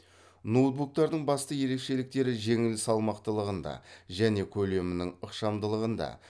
ноутбуктардың басты ерекшеліктері жеңіл салмақтылығында және көлемінің ықшамдылығында